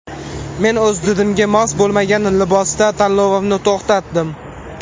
Men o‘z didimga mos bo‘lmagan libosda tanlovimni to‘xtatdim.